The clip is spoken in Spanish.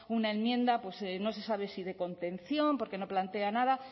una enmienda pues no se sabe si de contención porque no plantea nada